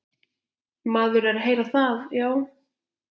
Maður er að heyra það, já.